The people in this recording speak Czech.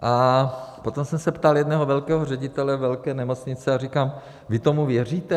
A potom jsem se ptal jednoho velkého ředitele velké nemocnice a říkám: Vy tomu věříte?